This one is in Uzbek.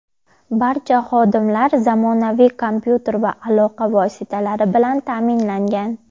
Barcha xodimlar zamonaviy kompyuter va aloqa vositalari bilan ta’minlangan.